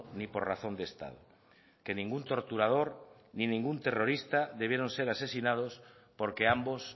ni por razón de estado que ningún torturador ni ningún terrorista debieron ser asesinados porque ambos